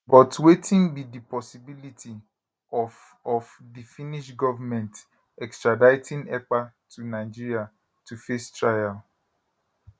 but wetin be di possibility of of di finnish goment extraditing ekpa to nigeria to face trial